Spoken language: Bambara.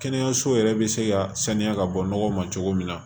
Kɛnɛyaso yɛrɛ bɛ se ka sanuya ka bɔ nɔgɔ ma cogo min na